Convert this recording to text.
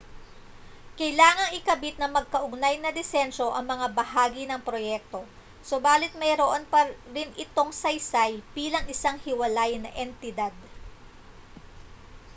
kailangang ikabit ng magkaugnay na disenyo ang mga bahagi ng proyekto subalit mayroon pa rin itong saysay bilang isang hiwalay na entidad